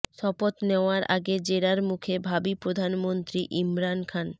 শপথ নেওয়ার আগে জেরার মুখে ভাবী প্রধানমন্ত্রী ইমরান খান